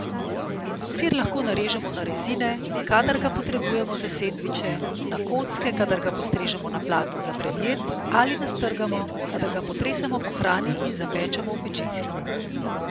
Sir lahko narežemo na rezine, kadar ga potrebujemo za sendviče, na kocke, kadar ga postrežemo na pladnju za predjed, ali nastrgamo, kadar ga potresemo po hrani in zapečemo v pečici.